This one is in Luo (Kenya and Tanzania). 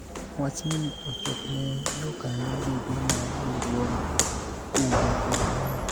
wachni ochopne jokanyo duto mar riwruog kungo kod hola